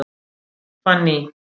Fanný